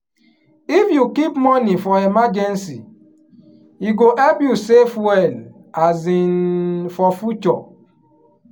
if you keep money for emergency e go help you save well um for future.